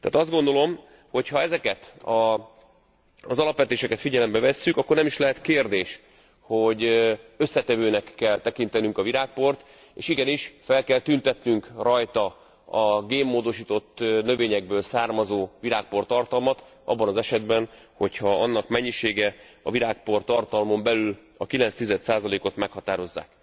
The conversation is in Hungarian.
Tehát azt gondolom, hogy ha ezeket az alapvetéseket figyelembe vesszük, akkor nem is lehet kérdés, hogy összetevőnek kell tekintenünk a virágport, és igenis fel kell tüntetnünk rajta a génmódosított növényekből származó virágportartalmat abban az esetben, hogy ha annak mennyisége a virágportartalmon belül a 9 tizedszázalékot meghatározzák.